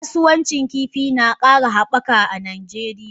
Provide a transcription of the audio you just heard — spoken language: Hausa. Kasuwancin kifin na kara habaka a Najeriya.